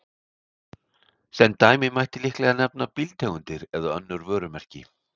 Sem dæmi mætti líklega nefna bílategundir eða önnur vörumerki.